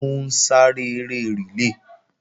Ó ń sáré eré rìlé